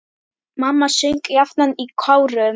Mamma söng jafnan í kórum.